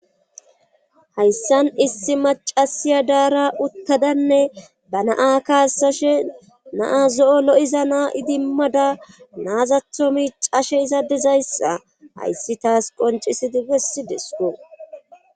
ayssan issi macasiya daara uttadanne ba naa kaasashe naa zo7o lo7iza naa idimmada naazatho miicashe izadezayssa hayssi taas qoncisidi bessi desko.